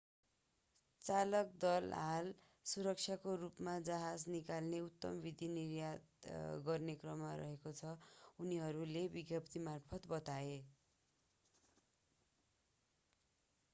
चालक दल हाल सुरक्षित रूपमा जहाज निकाल्ने उत्तम विधि निर्धारित गर्न काम गरिरहेको छ उनीहरूले विज्ञप्तिमार्फत बताए